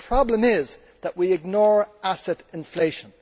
The problem is that we ignore asset inflation.